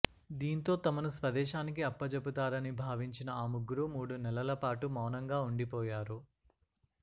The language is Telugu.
దీంతో తమను స్వదేశానికి అప్పజెబుతారని భావించిన ఆ ముగ్గురూ మూడు నెలల పాటు మౌనంగా ఉండిపోయారు